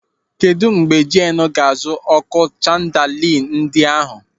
Kedụ mgbe Jeenu ga-azụ ọ́kụ́ chandali ndị ahụ?